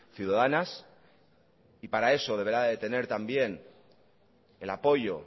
ciudadanas y para eso deberá de tener también el apoyo